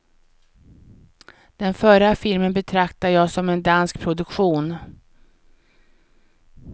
Den förra filmen betraktar jag som en dansk produktion.